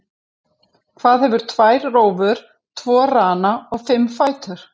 Hvað hefur tvær rófur, tvo rana og fimm fætur?